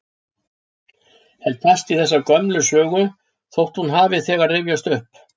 Held fast í þessa gömlu sögu þótt hún hafi þegar rifjast upp.